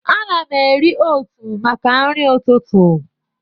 Ana m eri ótụ̀ maka nri ụtụtụ.